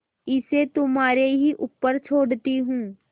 इसे तुम्हारे ही ऊपर छोड़ती हूँ